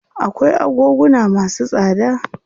Akwai agoguna masu tsada.